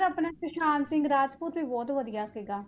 ਆਪਣਾ ਸੁਸਾਂਤ ਸਿੰਘ ਰਾਜਪੂਤ ਵੀ ਬਹੁਤ ਵਧੀਆ ਸੀਗਾ।